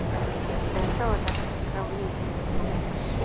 Ennþá er hægt að skrá ný lið til leiks!